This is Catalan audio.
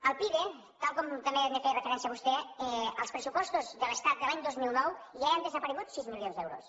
del pide tal com també hi feia referència vostè als pressupostos de l’estat de l’any dos mil nou ja hi han desaparegut sis milions d’euros